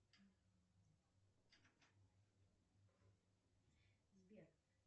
сбер